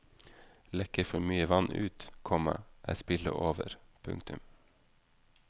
Lekker for mye vann ut, komma er spillet over. punktum